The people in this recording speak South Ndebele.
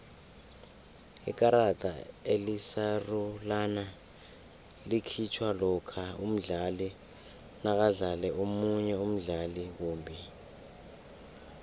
ikarada elisarulana likhitjhwa lokha umdlali nakadlale omunye umdlali kumbi